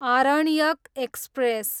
Aranyaka express